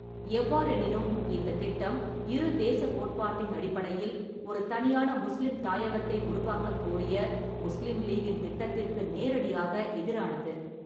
எவ்வாறெனினும், இந்தத் திட்டம் இரு தேசக் கோட்பாட்டின் அடிப்படையில் ஒரு தனியான முஸ்லிம் தாயகத்தை உருவாக்கக் கோரிய முஸ்லிம் லீக்கின் திட்டத்திற்கு நேரடியாக எதிரானது.